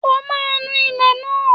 O máa nu ilẹ̀ náà!